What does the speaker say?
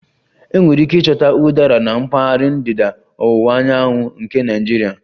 Enwere ike ịchọta Udara na mpaghara ndịda ọwụwa anyanwụ nke Nigeria